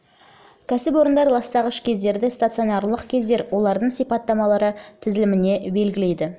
кәсіпорындар ластағыш көздерді стационарлық көздер мен олардың сипаттамалары тізіліміне белгілейді